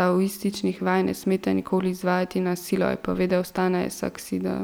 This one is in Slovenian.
taoističnih vaj ne smete nikoli izvajati na silo, je povedal Stane Saksida.